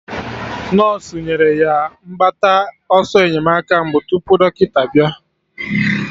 Nọsụ nyere ya mgbata ọsọ enyemaka mbụ tupu dọkịta bịa